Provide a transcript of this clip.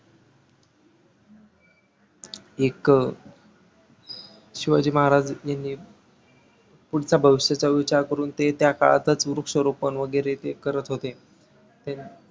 एक शिवाजी महाराज यांनी पुढच्या भविष्याचा विचार करून ते त्या काळातच वृक्षरोपण वैगरे ते करत होते. ते